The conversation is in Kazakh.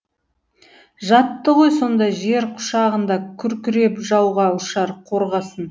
жатты ғой сонда жер құшағында күркіреп жауға ұшар қорғасын